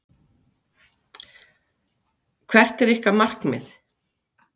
Hödd Vilhjálmsdóttir: Hvert er ykkar markmið?